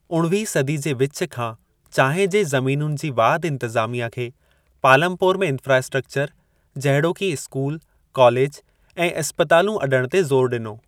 उणवीह सदी जे विचु खां चांहि जे ज़मीनुनि जी वाधि इंतिज़ामिया खे पालमपोर में इंफ़्रास्ट्रक्चर जहिड़ोकि इस्कूल कॉलेजु ऐं इस्पतालूं अॾणु ते ज़ोरु ॾिनो।